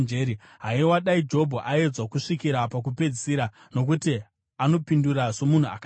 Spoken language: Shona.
Haiwa, dai Jobho aedzwa kusvikira pakupedzisira, nokuti anopindura somunhu akaipa!